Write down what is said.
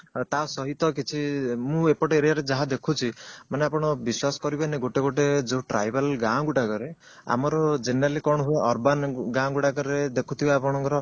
ତା ସହିତ କିଛି ମୁଁ ଏପଟ area ରେ ଯାହା ଦେଖୁଛି ଆପଣ ବିଶ୍ଵାସ କରିବେନି ଗୋଟେ ଗୋଟେ tribal ଗାଁ ଗୁଡାକରେ ଆମର generally କଣ ହୁଏ urban ଗାଁ ଗୁଡାକରେ ଦେଖୁଥିବେ ଆପଣଙ୍କର